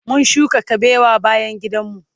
mun shuka kabewa bayan gidan mu